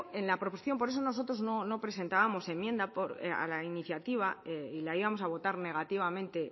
en la proposición por eso nosotros no presentábamos enmienda a la iniciativa y la íbamos a votar negativamente